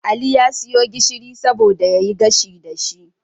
Ali ya siyo gishiri saboda yayi gashi dashi